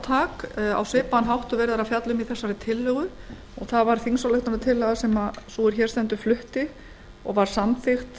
svipaðan hátt og verið er að fjalla um í þessari tillögu það var þingsálykunartillaga sem sú er hér stendur flutti og var samþykkt